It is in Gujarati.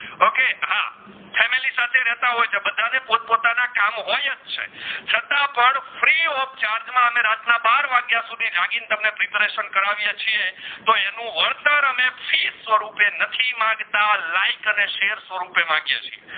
છે છતાં પણ free of charge માં અમે રાત ના બાર વગિયા સુધી જાગી ને તમને preparation કરવયે છીયે તો અનુ વરતર અમે ફી સ્વરૂપે નથી માંગતા like અને share સ્વરૂપ એ માંગીએ છીયે